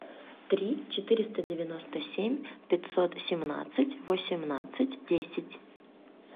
три четыреста девяносто семь пятьсот семнадцать восемнадцать десять